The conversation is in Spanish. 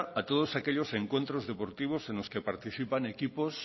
a todos aquellos encuentros deportivos en los que participan equipos